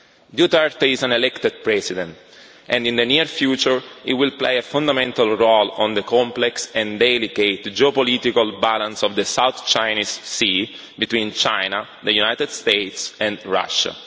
Duterte is an elected president and in the near future he will play a fundamental role in the complex and delicate geopolitical balance of the South China Sea between China, the United States and Russia.